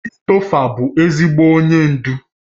Christopher bụ ezigbo onye ndu